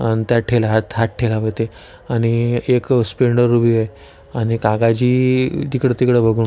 अण त्या ठेला आणि एक अ स्प्लेंडर उभी आहे अण काकाजी इकड तिकड बघून--